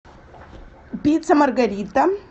пицца маргарита